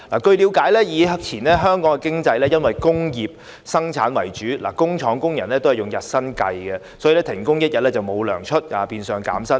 據了解，以前香港經濟以工業生產為主，工廠工人支取日薪，如果停工一天就會沒有工資，變相減薪。